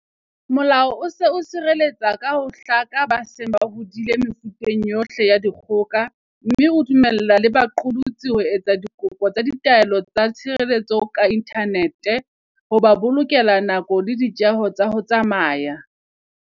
Molao o se o sireletsa ka ho hlaka ba seng ba hodile mefuteng yohle ya dikgoka, mme o dumella le baqosi ho etsa dikopo tsa ditaelo tsa tshireletso ka inthanete, ho ba bolokela nako le ditjeho tsa ho tsamaya.